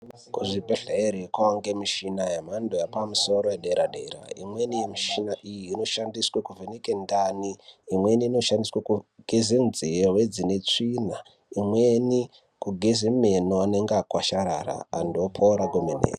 Kuzvibhedhleri kunowanike mishina yemhando yepamusoro yedera-dera, imweni mishina iyi inoshandiswe kuvheneka ndani, imweni inoshandiswe kugeze nzeve dzine tsvina, imweni kugeze meno anenge akwasharara ,antu opora kwemene.